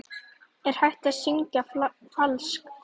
Er hægt að syngja falskt?